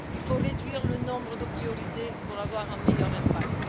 Il faut réduire le nombre de priorités pour avoir un meilleur impact.